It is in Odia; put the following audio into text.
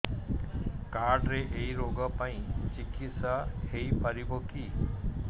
କାର୍ଡ ରେ ଏଇ ରୋଗ ପାଇଁ ଚିକିତ୍ସା ହେଇପାରିବ କି